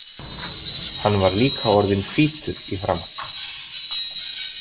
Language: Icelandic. Hann var líka orðinn hvítur í framan.